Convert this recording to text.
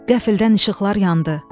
Qəfildən işıqlar yandı.